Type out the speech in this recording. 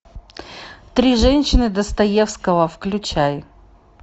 три женщины достоевского включай